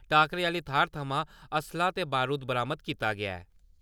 टाकरे आह्ली थाह्‌र थमां असला ते बरूद बरामद कीता गेआ ऐ।